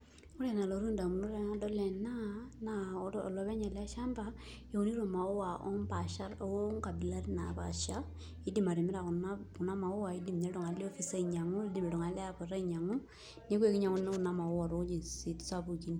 Ore enalotu indamunot tenadol ena naa olopeny eleshamba eunito imaua oongabilaritin naapaasha Idim atimira kuna maua idim iltung'anak le ofisi ainyang'u, in'dim iltung'anak le airport ainyang'u neeku ekinyanguni kuna mauwa toweitin sapukin